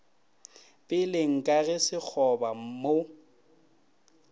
peleng ka ge sekgoba mo